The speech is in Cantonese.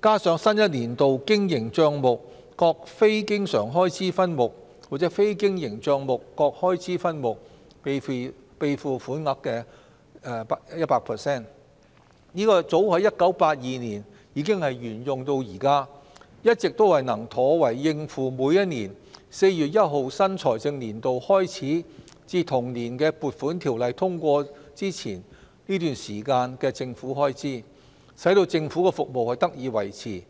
加上新一年度經營帳目各非經常開支分目或非經營帳目各開支分目備付款額的 100%， 早於1982年已沿用至今，一直都能妥為應付每年4月1日新財政年度開始至同年的《撥款條例草案》通過前這段時間的政府開支，使政府的服務得以維持。